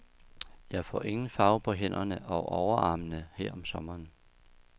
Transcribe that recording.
Jeg får ingen farve på hænderne og overarmene her om sommeren.